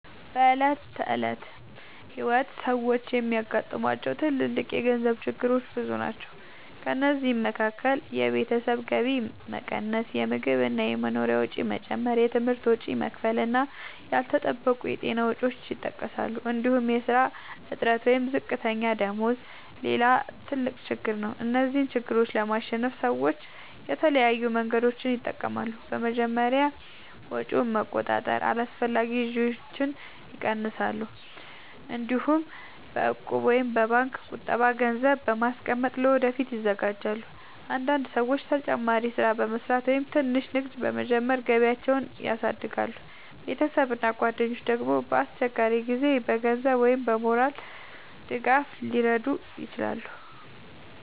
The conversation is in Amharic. በዕለት ተዕለት ሕይወት ሰዎች የሚያጋጥሟቸው ትልልቅ የገንዘብ ችግሮች ብዙ ናቸው። ከእነዚህ መካከል የቤተሰብ ገቢ መቀነስ፣ የምግብ እና የመኖሪያ ወጪ መጨመር፣ የትምህርት ወጪ መክፈል እና ያልተጠበቁ የጤና ወጪዎች ይጠቀሳሉ። እንዲሁም የሥራ እጥረት ወይም ዝቅተኛ ደመወዝ ሌላ ትልቅ ችግር ነው። እነዚህን ችግሮች ለማሸነፍ ሰዎች የተለያዩ መንገዶችን ይጠቀማሉ። በመጀመሪያ ወጪን በመቆጣጠር አላስፈላጊ ግዢዎችን ይቀንሳሉ። እንዲሁም በእቁብ ወይም በባንክ ቁጠባ ገንዘብ በማስቀመጥ ለወደፊት ይዘጋጃሉ። አንዳንድ ሰዎች ተጨማሪ ሥራ በመስራት ወይም ትንሽ ንግድ በመጀመር ገቢያቸውን ያሳድጋሉ። ቤተሰብ እና ጓደኞች ደግሞ በአስቸጋሪ ጊዜ በገንዘብ ወይም በሞራል ድጋፍ ሊረዱ ይችላሉ።